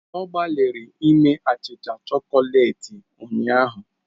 Ọ gbalịrị ime achịcha chokoleti ụnyahụ.